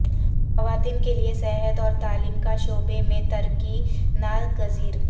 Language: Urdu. خواتین کے لیے صحت اور تعلیم کا شعبے میں ترقی ناگزیر